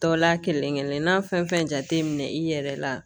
Tɔw la kelen kelen n'a fɛn fɛn jate minɛ i yɛrɛ la